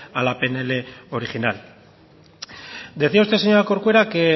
a la pnl original decía usted señora corcuera que